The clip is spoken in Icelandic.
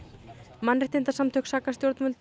mannréttindasamtök saka stjórnvöld